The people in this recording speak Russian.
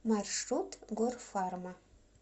маршрут горфарма